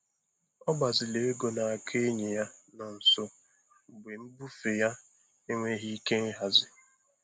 Ọ gbaziri ego n'aka enyi ya nọ nso mgbe mbufe ya enweghị ike ịhazi.